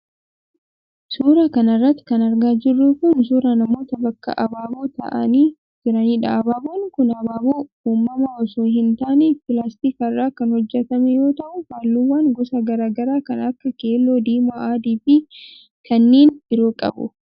Suura kana irratti kan argaa jirru kun ,suura namoota bakka abaaboo ta'anii jiraniidha. Abaaboon kun abaaboo uumamaa osoo hin taane pilaastika irraa kan hojjatame yoo ta'u, haalluuwwan gosa garaa garaa kan akka :keelloo, diimaa ,adii fi kanneen biroo qabu.